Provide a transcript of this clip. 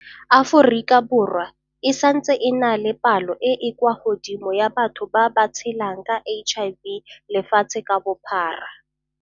Aforika Borwa e santse e na le palo e e kwa godimo ya batho ba ba tshelang ka HIV lefatshe ka bophara.